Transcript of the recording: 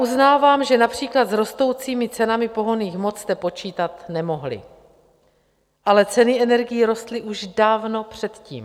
Uznávám, že například s rostoucími cenami pohonných hmot jste počítat nemohli, ale ceny energií rostly už dávno předtím.